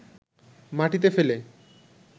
মাটিতে ফেলে